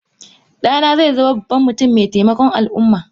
Dana zaizama babban mutum maitaimakon alumma.